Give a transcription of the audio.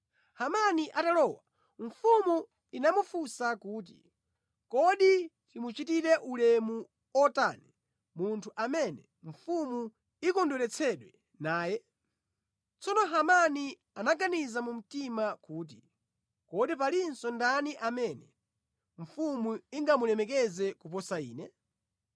Hamani atalowa, mfumu inamufunsa kuti, “Kodi timuchitire ulemu otani munthu amene mfumu ikondweretsedwa naye?” Tsono Hamani anaganiza mu mtima kuti, “Kodi palinso ndani amene mfumu ingamulemekeze kuposa ine?”